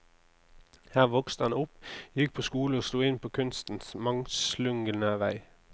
Her vokste han opp, gikk på skole og slo inn på kunstens mangslungne vei.